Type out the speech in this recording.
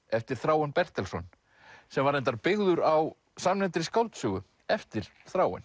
eftir Þráin Bertelsson sem var reyndar byggður á samnefndri skáldsögu eftir Þráin